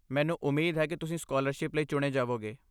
ਮੈਨੂੰ ਉਮੀਦ ਹੈ ਕਿ ਤੁਸੀਂ ਸਕਾਲਰਸ਼ਿਪ ਲਈ ਚੁਣੇ ਜਾਵੋਗੇ।